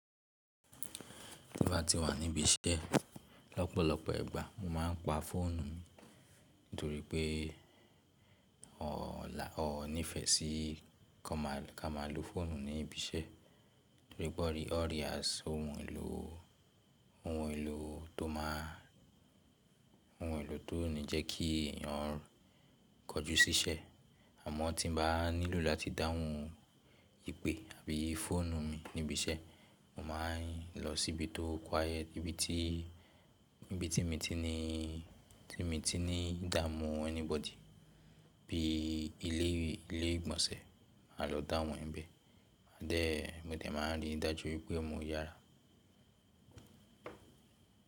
Bí mo bá ti wà níbí iṣẹ́ lọ́pọ̀lọpọ̀ ìgbà mo máa ń pa fóònù ni, nítorí pé ó wòn nífẹ̀ẹ́ sí ká máa lo fóònù ní ibi iṣẹ́ nítorí pé ó rí as ohun èlò tó máa, ohun èlò tó ní jẹ́ kí ẹ̀yàn kọjú sí iṣẹ́ àmọ́ tí mo bá nílò láti dáhùn ìpè àbí fóònù mi ní ibi iṣẹ́, mo máa ń lọ síbi tó quiet, ibi tí mi ti ní dáamù anybody bíi ilé ìgbọ̀nsẹ̀ máa lọ dáhùn níbẹ̀. Then, mo dẹ̀ máa n rí dájú wípé mo yára.